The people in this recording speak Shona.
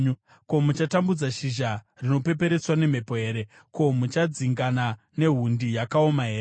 Ko, muchatambudza shizha rinopeperetswa nemhepo here? Ko, muchadzingana nehundi yakaoma here?